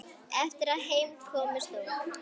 Eftir að heim kom stóðu